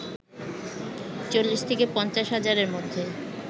৪০ থেকে ৫০ হাজারের মধ্য